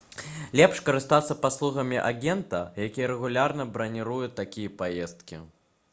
лепш карыстацца паслугамі агента які рэгулярна браніруе такія паездкі